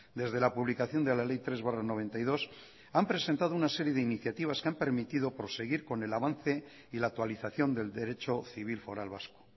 desde la publicación de la ley tres barra noventa y dos han presentado una serie de iniciativas que han permitido proseguir con el avance y la actualización del derecho civil foral vasco